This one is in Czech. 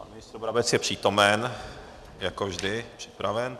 Pan ministr Brabec je přítomen, jako vždy, připraven.